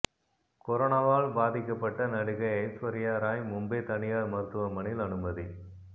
கொரோனாவால் பாதிக்கப்பட்ட நடிகை ஐஸ்வர்யா ராய் மும்பை தனியார் மருத்துவமனையில் அனுமதி